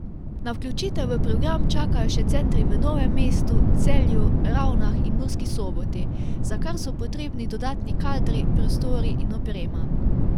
Na vključitev v program čakajo še centri v Novem mestu, Celju, Ravnah in Murski Soboti, za kar so potrebni dodatni kadri, prostori in oprema.